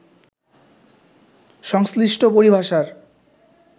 সংশ্লিষ্ট পরিভাষার